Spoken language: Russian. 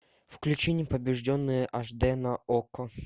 включи непобежденные аш д на окко